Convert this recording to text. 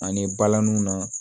Ani balaniw na